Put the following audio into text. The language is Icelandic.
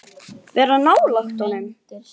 Vera nálægt honum?